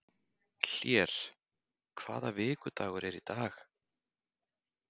Hlér, hvaða vikudagur er í dag?